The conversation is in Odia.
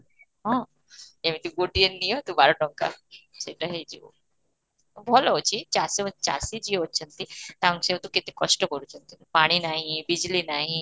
ହଁ, ଏମିତି ଗୋଟିଏ ନିୟନ୍ତୁ ବାର ଟଙ୍କା ସେଇଟା ହେଇଯିବ, ଭଲ ଅଛି ଚାଷ ଚାଷୀ ଯିଏ ଅଛନ୍ତି ତାଙ୍କ ସେ ତ କେତେ କଷ୍ଟ କରୁଛନ୍ତି ପାଣି ନାହିଁ ବିଜଲୀ ନାହିଁ